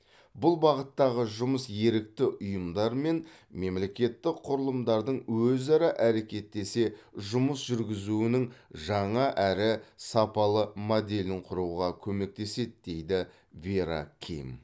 бұл бағыттағы жұмыс ерікті ұйымдар мен мемлекеттік құрылымдардың өзара әрекеттесе жұмыс жүргізуінің жаңа әрі сапалы моделін құруға көмектеседі дейді вера ким